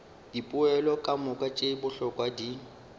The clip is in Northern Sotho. dipoelo kamoka tše bohlokwa di